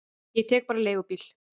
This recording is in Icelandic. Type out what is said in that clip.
Ég tek bara leigubíl.